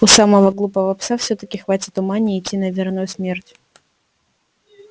у самого глупого пса всё таки хватит ума не идти на верную смерть